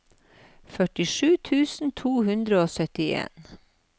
førtisju tusen to hundre og syttien